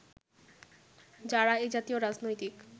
যারা এ জাতীয় রাজনৈতিক